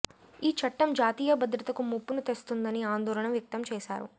ఈ చట్టం జాతీయ భద్రతకు ముప్పును తెస్తుందని ఆందోళన వ్యక్తం చేశారు